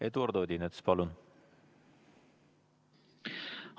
Eduard Odinets, palun!